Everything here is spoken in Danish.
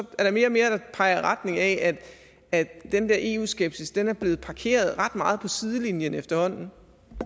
er der mere og mere der peger i retning af at den der eu skepsis er blevet parkeret ret meget på sidelinjen efterhånden